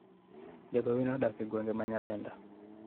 jagowi no odak e gwenge ma Nyalenda